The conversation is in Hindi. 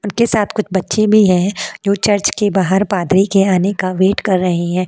उनके साथ कुछ बच्चे भी हैं जो चर्च के बाहर पादरी के आने का वेट कर रहे हैं।